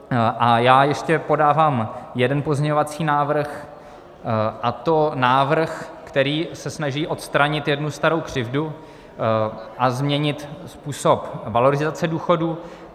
A já ještě podávám jeden pozměňovací návrh, a to návrh, který se snaží odstranit jednu starou křivdu a změnit způsob valorizace důchodů.